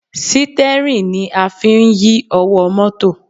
Sítẹ́rìn ni a fi ń yí ọwọ́ mọ́tò